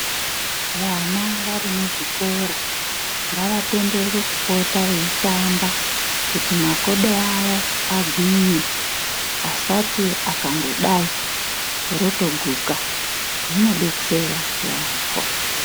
Vana varimuzvikora ngavatenderwe kupota veitamba kuti makodo avo agwinye. Asati akangodai, rotoguka. Zvinodetsera yaambo.